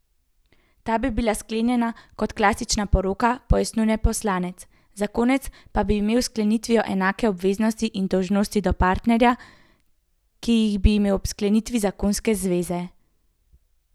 Ta bi bila sklenjena kot klasična poroka, pojasnjuje poslanec, zakonec pa bi imel s sklenitvijo enake obveznosti in dolžnosti do partnerja, ki jih bi imel ob sklenitvi zakonske zveze.